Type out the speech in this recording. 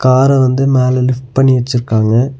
கார வந்து மேல லிஃப்ட் பண்ணி வெச்சிர்க்காங்க.